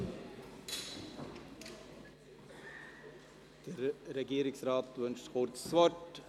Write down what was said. Der Regierungsrat wünscht kurz das Wort.